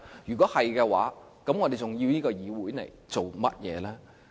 如果是，我們還要這個議會來做甚麼呢？